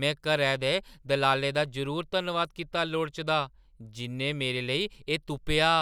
में घरै दे दलालै दा जरूर धन्नवाद कीता लोड़चदा जिʼन्नै मेरे लेई एह् तुप्पेआ।